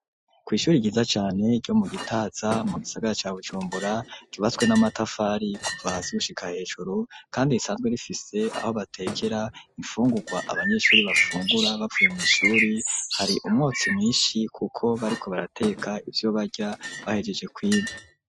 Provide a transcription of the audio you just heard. Kw'ishuri ryiza cane ryo mu Gitaza mu gisagara ca bujumbura ryubatswe n'amatafari kuva hasi gushika hejuru kandi risanzwe rifise aho batekera imfungurwa abanyeshuri bafungura bavuye mw'ishuri hari umwotsi mwishi kuko bariko barateka ivyo barya bahejeje kwiga.